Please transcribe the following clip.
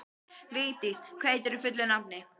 Viglís, hvað heitir þú fullu nafni?